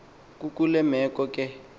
kukule meko ke